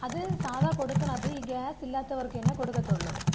അത് സാധാ കൊടുക്കിണത് ഈ ഗ്യാസ് ഇല്ലാത്തവർക്ക് തന്നെ കൊടുക്കത്തൊള്ളൂ.